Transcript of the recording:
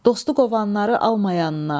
Dost qovanları alma yanına.